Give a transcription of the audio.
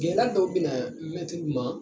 Gɛlɛya dɔw bɛna mɛtiriw ma